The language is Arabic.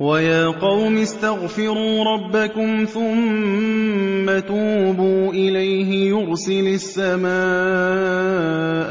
وَيَا قَوْمِ اسْتَغْفِرُوا رَبَّكُمْ ثُمَّ تُوبُوا إِلَيْهِ يُرْسِلِ السَّمَاءَ